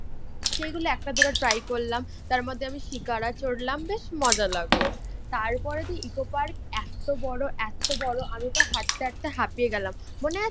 যেগুলো একটা দুটো ট্রাই করলাম, তারমধ্যে আমি শিকারা চড়লাম বেশ মজা লাগলো। তারপরেতো ইকো পার্ক এতো বড়ো এতো বড়ো আমি তো হাঁটতে হাঁটতে হাপিয়ে গেলাম। মনে আছে